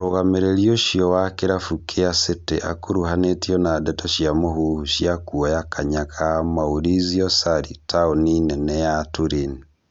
Mũrũgamĩrĩri ũcio wa kĩrabu kĩa City akuhanĩtio na ndeto cia mũhuhu cia kuoya kanya ga Maurizio Sarri taoni nene ya Turin